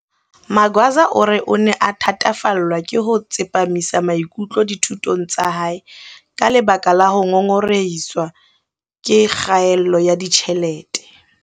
Magwaza o re o ne a thatafallwa ke ho tsepamisa maikutlo dithutong tsa hae ka lebaka la ho ngongorehiswa ke kgaello ya ditjhelete.